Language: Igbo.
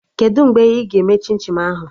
Kedụ mgbe ị ga-eme chim chim ahụ?